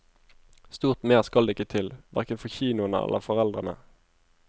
Stort mer skal det ikke til, hverken for kinoene eller foreldrene.